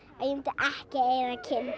ekki eiga